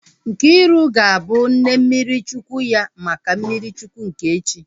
Nkiru ga-abụ nne mmiri Chukwu ya maka mmiri Chukwu nke echi